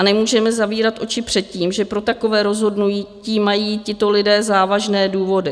A nemůžeme zavírat oči před tím, že pro takové rozhodnutí mají tito lidé závažné důvody.